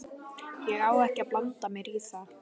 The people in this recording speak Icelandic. Ég á ekki að blanda mér í það.